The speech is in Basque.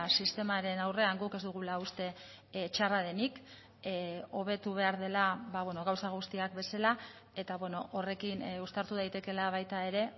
sistemaren aurrean guk ez dugula uste txarra denik hobetu behar dela gauza guztiak bezala eta horrekin uztartu daitekeela baita ere